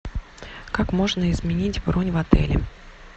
как можно изменить бронь в отеле